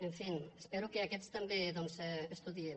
en fi espero que aquests també doncs estudiïn